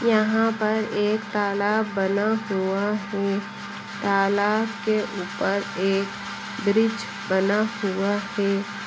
यहाँ पर एक तलब बना हुआ है तलाब के उपर एक ब्रिज बना हुआ है।